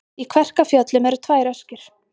Í Kverkfjöllum eru tvær öskjur.